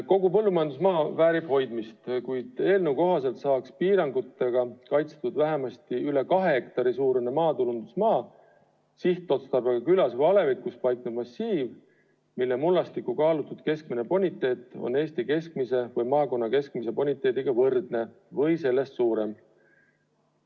Kogu põllumajandusmaa väärib hoidmist, kuid eelnõu kohaselt saaks piirangutega kaitstud vähemasti üle 2 hektari suurune, maatulundusmaa sihtotstarbega, külas või alevikus paiknev massiiv, mille mullastiku kaalutud keskmine boniteet on Eesti keskmise või maakonna keskmise boniteediga võrdne või sellest suurem.